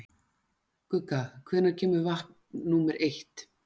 Gugga, hvenær kemur vagn númer eitt?